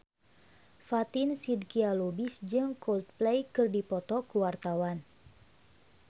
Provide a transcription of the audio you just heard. Fatin Shidqia Lubis jeung Coldplay keur dipoto ku wartawan